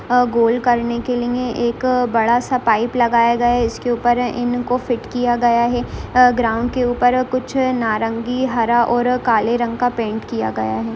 अ goal करने के लिए एक बड़ा सा पाइप लगाया गया है इसके ऊपर इनको फिट किया गया है अ ग्राउंड के ऊपर कुछ नारंगी हरा और काले रंग का पेंट किया गया है।